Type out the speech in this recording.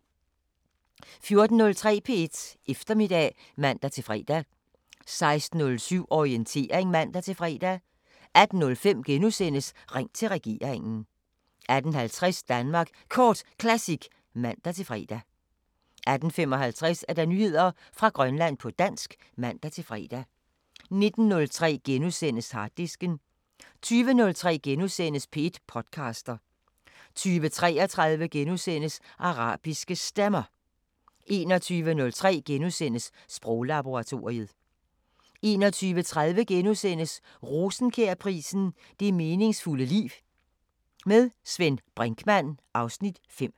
14:03: P1 Eftermiddag (man-fre) 16:07: Orientering (man-fre) 18:05: Ring til regeringen * 18:50: Danmark Kort Classic (man-fre) 18:55: Nyheder fra Grønland på dansk (man-fre) 19:03: Harddisken * 20:03: P1 podcaster * 20:33: Arabiske Stemmer * 21:03: Sproglaboratoriet * 21:30: Rosenkjærprisen: Det meningsfulde liv. Med Svend Brinkmann (Afs. 5)*